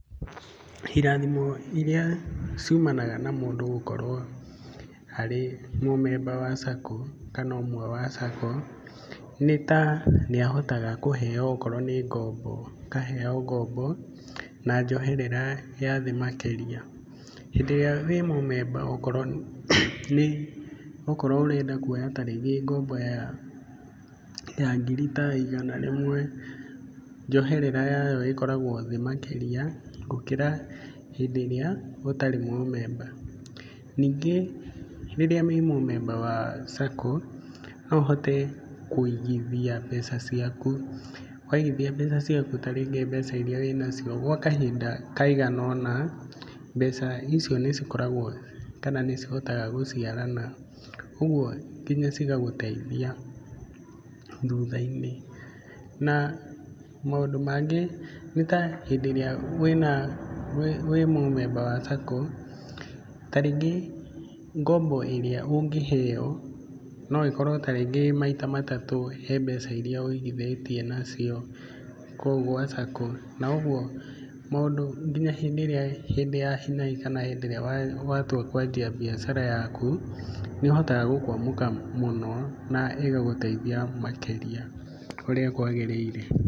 Irathimo irĩa ciumanaga na mũndũ gũkorũo arĩ mũ member SACCO, kana ũmwe wa SACCO nĩ ta nĩ ahotaga kũheo okorwo nĩ ngombo, akaheo ngombo na njoherera ya thĩ makĩria. Hĩndĩ ĩrĩa ũrĩ mũ member okorwo ũrenda ta rĩngĩ kuoya ngombo ya ngiri ta igana rĩmwe, njoherera yayo ĩkoragwo thĩ makĩria gũkĩra hĩndĩ ĩrĩa ũtarĩ mũ member. Ningĩ rĩrĩa ũrĩ mũ member wa SACCO, no ũhote kũigithia mbeca ciaku. Waigithia mbeca ciaku ta rĩngĩ mbeca iria ũrĩ na cio gwa kahinda kaigana ũna, mbeca icio nĩ cikoragwo kana nĩ cihotaga gũciarana ũguo nginya cigagũteithia thuthainĩ. Na maũndũ mangĩ nĩ ta hĩndĩ ĩrĩa ũrĩ mũ member wa SACCO, ta rĩngĩ ngombo ĩrĩa ũngĩheo, no ĩkorwo ta rĩngĩ ĩrĩ maita matatũ harĩ mbeca irĩa ũigithĩtie nacio. Na ũguo nginya hĩndĩ ya hi na hi, kana hĩndĩ ĩrĩa watua kwendia biacara yaku, nĩ ũhotaga gũkũamũka mũno na ĩgagũteithia makĩria ũrĩa kwagĩrĩire.